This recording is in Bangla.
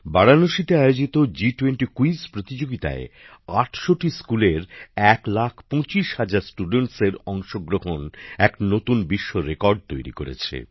বারাণসীতে আয়োজিত জি20 কুইজ প্রতিযোগিতায় ৮০০টি স্কুলের এক লাখ পঁচিশ হাজার ছাত্রছাত্রীর অংশগ্রহণ এক নতুন বিশ্বরেকর্ড তৈরি করেছে